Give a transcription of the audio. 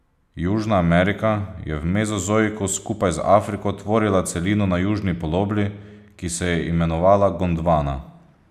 Južna Amerika je v mezozoiku skupaj z Afriko tvorila celino na južni polobli, ki se je imenovala Gondvana.